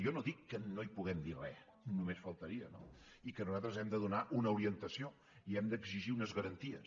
jo no dic que no hi puguem dir re només faltaria no i que nosaltres hem de donar una orientació i hem d’exigir unes garanties